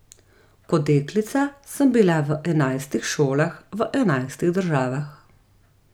Kot deklica sem bila v enajstih šolah v enajstih državah.